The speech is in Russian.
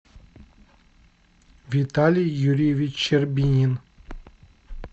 виталий юрьевич щербинин